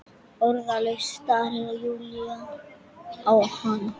Orðlaus starir Júlía á hana.